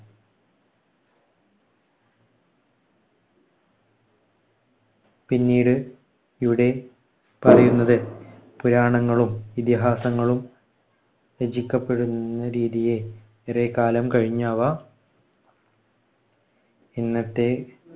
പിന്നീട് ഇവിടെ പറയുന്നത് പുരാണങ്ങളും ഇതിഹാസങ്ങളും രചിക്കപ്പെടുന്ന രീതിയെ കുറെ കാലം കഴിഞ്ഞവ ഇന്നത്തെ